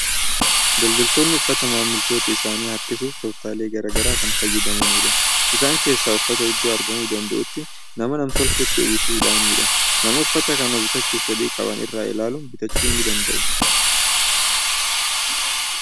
Daldaltoonni uffataa maamiltoota isaanii harkisuuf tooftaalee garaa garaa kan fayyadamanidha. Isaan keessaa uffata iddoo argamuu danda'utti nama nam-tolcheetti uwwisuudhaanidha. Namoonni uffata kana bitachuuf fedhii qaban irraa ilaaluun bitachuu ni danda'u.